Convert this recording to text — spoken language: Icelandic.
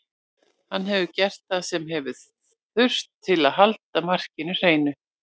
Hann hefur gert það sem hefur þurft til að halda markinu hreinu.